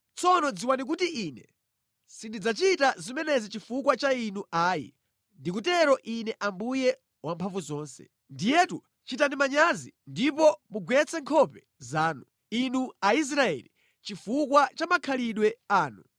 Tsono dziwani kuti Ine sindidzachita zimenezi chifukwa cha inuyo ayi, ndikutero Ine Ambuye Wamphamvuzonse. Ndiyetu chitani manyazi ndipo mugwetse nkhope zanu, inu Aisraeli chifukwa cha makhalidwe anu!